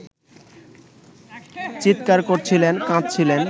চিৎকার করছিলেন, কাঁদছিলেন